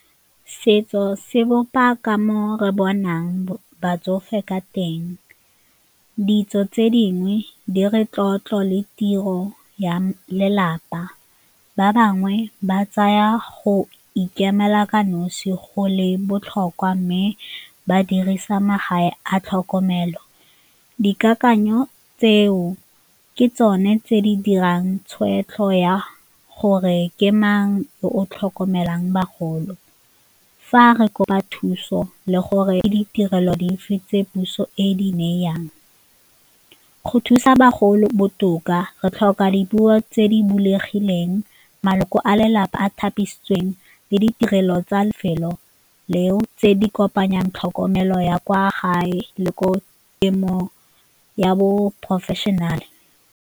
Setso se bopa ka mo re bonang batsofe ka teng, ditso tse dingwe di re tlotlo le tiro ya lelapa, ba bangwe ba tsaya go ikemela ka nosi go le botlhokwa mme ba dirisa magae a tlhokomelo. Dikakanyo tseo ke tsone tse di dirang tshweetso ya gore ke mang o o tlhokomelang bagolo, fa re kopa thuso le gore e ditirelo di movie tse puso e di neyeng, go thusa bagolo botoka re tlhoka dipuo tse di bulegileng, maloko a lelapa a thapilweng le ditirelo tsa lefelo leo tse di kopanyang tlhokomelo ya kwa gae le ko temo ya bo-professional.